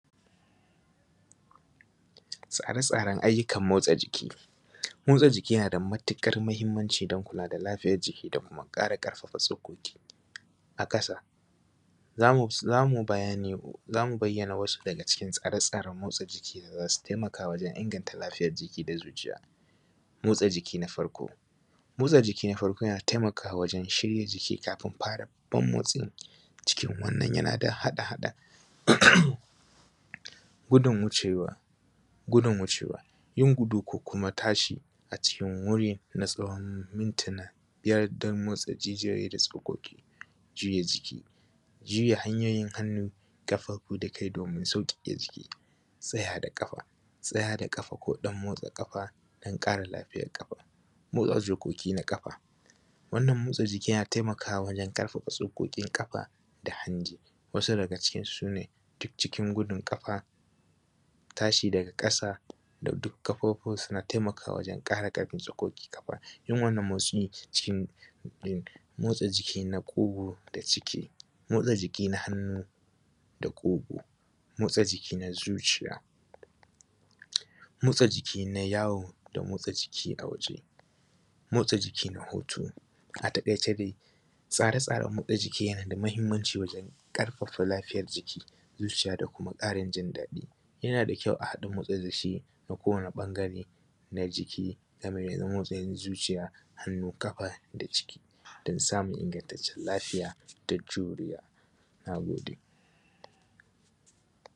Tsare-tsaren ayyukan motsa jiki, motsa jiki yana da matuƙar muhimmanci don kula da lafiyar jiki da kuma ƙarfafa tsokoki. A ƙasa za mu za mu bayyana wasu daga cikin tsare-tsaren motsa jiki da za su taimaka wajen inganta lafiyar jiki da zuciya. Motsa jiki na farko, motsa jiki na farko na taimakawa wajen shiya jiki kafin fara babban motsi, cikin wannan yana da haɗa haɗa gudun wucewa, gudun wucewa yin guda ko kuma tashi a cikin wuri na tsawon mintina biyar don motsa jijiyo da tsokoki, juya jiki, juya hanyoyin hannu, ƙafafu da kai domin sauƙaƙe jiki. Tsaya da ƙafa, tsaya da ƙafa ko ɗan motsa ƙafa dan ƙara lafiya ƙafa. Motsa tsokokina ƙafa. Wannan motsa jikin yana taimakawa wajen ƙarfafa tsokokin ƙafa da hanji. Wasu daga cikin daga cikin su, su ne cikin gudun ƙafa, tashi daga ƙasa da duk ƙafafuwa suma taimakawa wajen ƙara tsokokin ƙafa, yin wannan motsi yin wanna motsa jiki na ƙugu da ciki, motsa jiki na hannu da ƙugu, motsa jiki na zuciya, motsa jiki na tawo da motsa jiki a waje, motsa jiki nah utu. A taƙaice dai Tsare-tsaren motsa jiki yana da muhimmanci wajen ƙarfafa lafiyar jiki, zuciya da kuma ƙarin ji daɗi. yana da kyau a haɗa motsa jiki da kowane ɓangare na jiki da zuciya, hannu, ƙafa da ciki dan samun ingantaccen lafiya da juriya. Na gode.